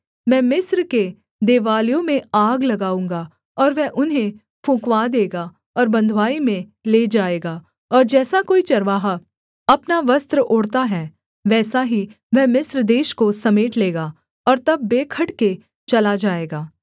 मैं मिस्र के देवालयों में आग लगाऊँगा और वह उन्हें फुँकवा देगा और बँधुआई में ले जाएगा और जैसा कोई चरवाहा अपना वस्त्र ओढ़ता है वैसा ही वह मिस्र देश को समेट लेगा और तब बेखटके चला जाएगा